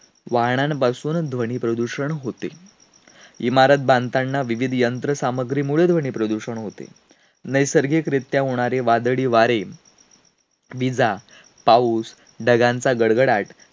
एकदा एका ग्रंथ प्रेमी वाचनाकडून दोन दिवसासाठी एक पुस्तक मी वाचायला आणलं होतं.